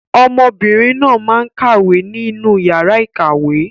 Ọmọbìnrin náà máa ń kàwé ní inú yàrá ìkàwé.